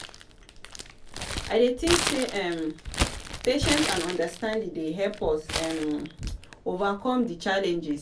i dey think say um patience and understanding dey help us um overcome di challenges.